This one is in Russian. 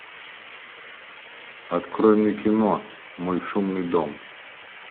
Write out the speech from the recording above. открой мне кино мой шумный дом